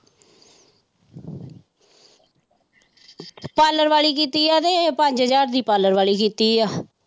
parlour ਵਾਲੀ ਕੀਤੀ ਹੈ ਤੇ ਪੰਜ ਹਜਾਰ ਦੀ parlor ਵਾਲੀ ਕੀਤੀ ਹੈ।